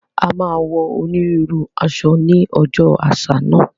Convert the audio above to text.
A máa wọ onírúurú aṣọ ní ọjọ́ àṣà náà